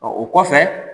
Ɔ o kɔfɛ